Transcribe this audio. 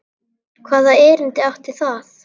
Hvaða erindi átti það?